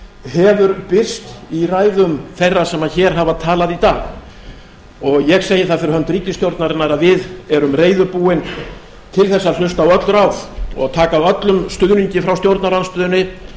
hefur birst í ræðum þeirra sem hér hafa talað í dag og ég segi það fyrir hönd ríkisstjórnarinnar að við erum reiðubúin til þess að hlusta á öll ráð og taka á öllum stuðningi frá stjórnarandstöðunni